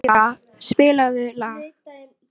En fjöldi náttúrulegu talnanna er óendanlegur.